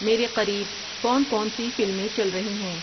میرے قریب کون کون سی فلمیں چل رہی ہیں